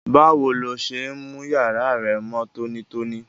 Báwo lo se n mú yàrá rẹ mó tónítóní?